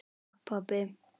Takk, pabbi.